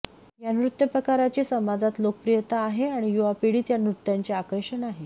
या नृत्यप्रकाराची समाजात लोकप्रियता आहे आणि युवापिढीत या नृत्याचे आकर्षण आहे